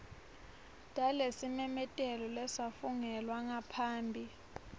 talesimemetelo lesafungelwa ngaphambi